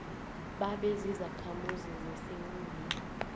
babe zizakhamuzi zesewula